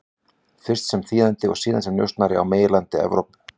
Fyrst sem þýðandi og síðan sem njósnari á meginlandi Evrópu.